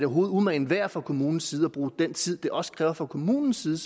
umagen værd fra kommunens side at bruge den tid det selvfølgelig også kræver fra kommunens side